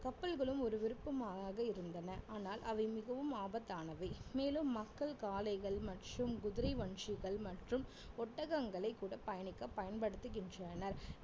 கப்பல்களும் ஒரு விருப்பமாகவே இருந்தன ஆனால் அவை மிகவும் ஆபத்தானவை மேலும் மக்கள் காளைகள் மற்றும் குதிரை வண்டிகள் மற்றும் ஒட்டகங்களைக் கூட பயணிக்க பயன்படுத்துகின்றனர்